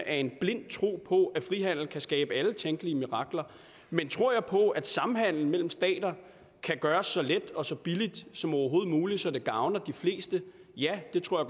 en blind tro på at frihandel kan skabe alle tænkelige mirakler men tror jeg på at samhandel mellem stater kan gøres så let og så billigt som overhovedet muligt så det gavner de fleste ja det tror